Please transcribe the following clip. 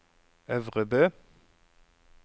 Øvrebø